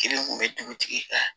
Kelen kun be dugutigi kan